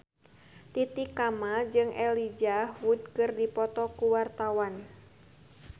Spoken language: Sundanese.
Titi Kamal jeung Elijah Wood keur dipoto ku wartawan